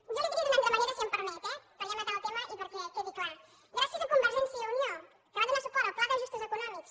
jo li ho diria d’una altra manera si em permet eh per ja matar el tema i perquè quedi clar gràcies a convergència i unió que va donar suport al pla d’ajustos econòmics